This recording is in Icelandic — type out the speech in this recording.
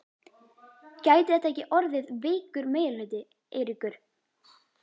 Gæti þetta ekki orðið veikur meirihluti, Eiríkur?